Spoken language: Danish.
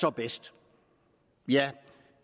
er bedst